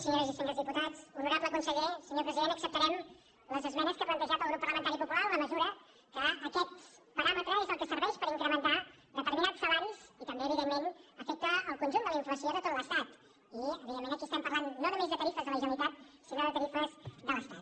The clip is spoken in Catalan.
senyors i senyors diputats honorable conseller senyor president acceptarem les esmenes que ha plantejat el grup parlamentari popular en la mesura que aquest paràmetre és el que serveix per incrementar determinats salaris i també evidentment afecta el conjunt de la inflació de tot l’estat i evidentment aquí estem parlant no només de tarifes de la generalitat sinó de tarifes de l’estat